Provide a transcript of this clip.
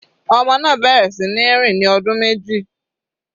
Ọmọ náà bẹ̀rẹ̀ sí ní rìn ní ọdún méjì.